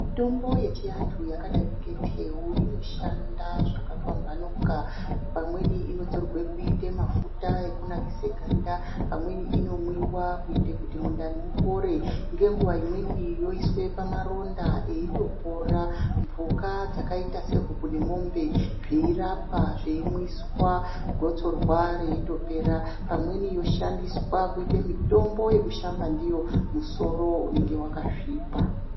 Mitombo yechianhu yakadai ngeteu inoshanda zvakapamhamuka pamweni inotorwe kuite mafuta ekunakise ganda pamweni inomwiwa kuite kuti mundani mupore ngenguwa imweni yoiswe pamaronda eitopora ,mhuka dzakaita se huku nemwombe zveirapwa zveimwiswa gotsorwa reitopera ,pamweni yoshandiswa kuite mitombo yekushamba ndiyo musoro unenge wakasvipa.